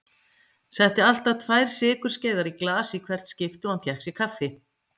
Setti alltaf tvær sykurskeiðar í glas í hvert skipti og hann fékk sér kaffi.